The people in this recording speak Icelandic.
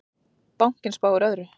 Bankinn spáir öðru.